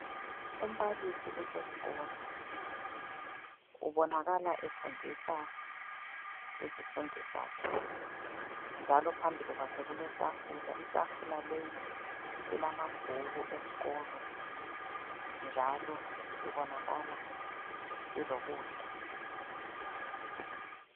Umbalisi useskolo. Ubonakala efundisa izifundi zakhe njalo phambili kwakhe kuletafula. Itafula leyi ilamabhuku esikolo njalo ibonakala ilokudla.